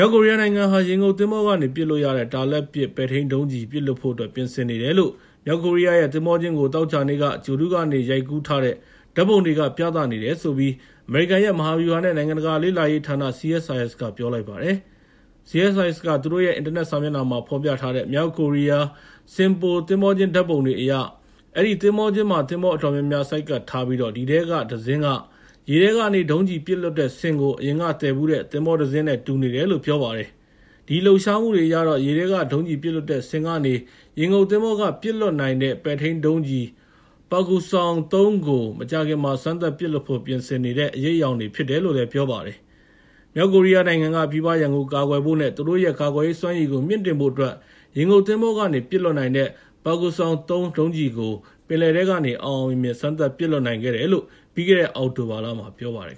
ောက်ကိုရီးယားနိုင်ငံဟာ ရေငုပ်သင်္ဘောကနေ ပစ်လို့ရတဲ့ တာလတ်ပစ် ပဲ့ထိန်းဒုံးကျည်ကို ပစ်လွှတ်ဖို့အတွက် ပြင်ဆင်နေတယ်လို့ မြောက်ကိုရီးယားရဲ့ သင်္ဘောကျင်းကို သောကြာနေ့က ဂြိုဟ်တုကနေ ရိုက်ကူးထားတဲ့ ဓာတ်ပုံတွေက ပြသနေတဲ့အကြောင်း အမေရိကန် မဟာဗျူဟာနဲ့ နိုင်ငံတကာလေ့လာရေးဌာန (CSIS) က ပြောလိုက်ပါတယ်။ CSIS က သူတို့ရဲ့ အင်တာနက်စာမျက်နှာမှာ ဖော်ပြထားတဲ့ မြောက်ကိုရီးယား Sinpo သင်္ဘောကျင်း ဓာတ်ပုံတွေအရ အဲဒီသင်္ဘောကျင်းမှာ သင်္ဘောအတော်များများ ဆိုက်ကပ်ထားပြီး အဲဒီထဲက တစင်းဟာ ရေထဲကနေ ဒုံးကျည်ပစ်လွှတ်တဲ့စင်ကို အရင်က သယ်ဖူးတဲ့ သင်္ဘောတစင်းနဲ့ တူနေတယ်လို့ ပြောပါတယ်။ အဲဒီလှုပ်ရှားမှုတွေအရတော့ ရေထဲက ဒုံးကျည်ပစ်လွှတ်တဲ့စင်ကနေ ရေငုပ်သင်္ဘောကနေ ပစ်လွှတ်တဲ့ ပဲ့ထိန်းဒုံးကျည် Pukgoksong-3 ကို မကြာခင်မှာ စမ်းသပ်ပစ်လွှတ်ဖို့ ပြင်ဆင်နေတဲ့ အရိပ်အယောင်တွေ ဖြစ်တယ်လို့ ပြောပါတယ်။ မြောက်ကိုရီးယားနိုင်ငံက ပြည်ပရန်ကို ကာကွယ်ဖို့နဲ့ သူတို့ရဲ့ ကာကွယ်ရေးစွမ်းရည်ကို မြှင့်တင်ဖို့အတွက် ရေငုပ်သင်္ဘောကနေ ပစ်လွှတ်နိုင်တဲ့ Pukguksong-3 ဒုံးကျည်ကို ပင်လယ်ထဲကနေ အောင်အောင်မြင်မြင် စမ်းသပ်ပစ်လွှတ်နိုင်ခဲ့တယ်လို့ ပြီးခဲ့တဲ့ အောက်တိုဘာလက ပြောပါတယ်